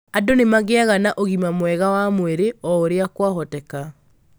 Andũ nĩ magĩaga na ũgima mwega wa mwĩrĩ o ũrĩa kwahoteka.